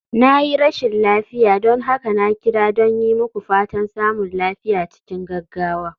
Na yi rashin lafiya, don haka na kira don yi muku fatan samun lafiya cikin gaggawa.